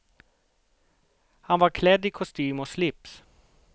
Han var klädd i kostym och slips.